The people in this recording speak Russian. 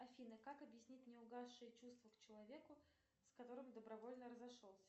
афина как объяснить неугасшие чувства к человеку с которым добровольно разошелся